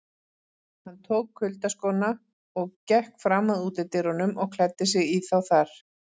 Hann tók kuyldaskóna og gekk fram að útidyrunum og klæddi sig í þá þar.